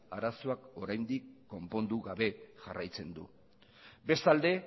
arazoak oraindik konpondu gabe jarraitzen du bestalde